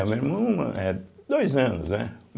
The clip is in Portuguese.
Não, meu irmão é dois anos, né?